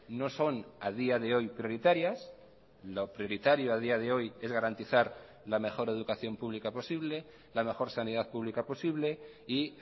no son a día de hoy prioritarias lo prioritario a día de hoy es garantizar la mejor educación pública posible la mejor sanidad pública posible y